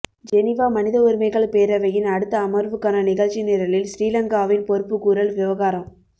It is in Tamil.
ஜெனீவா மனித உரிமைகள் பேரவையின் அடுத்த அமர்வுக்கான நிகழ்ச்சி நிரலில் ஸ்ரீலங்காவின் பொறுப்புக்கூறல் விவகாரம்